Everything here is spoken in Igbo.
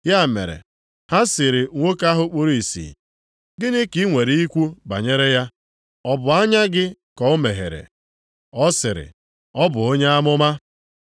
Ya mere, ha sịrị nwoke ahụ kpuru ìsì, “Gịnị ka i nwere ikwu banyere ya? Ọ bụ anya gị ka o meghere.” Ọ sịrị, “Ọ bụ onye amụma.”